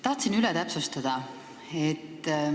Tahaksin üht asja täpsustada.